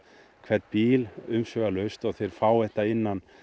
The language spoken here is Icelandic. hvern bíl umsvifalaust og þeir fá þetta innan